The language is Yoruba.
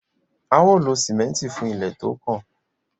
a ó lo sìmẹ́ǹtì fún ilé tí ó kàn.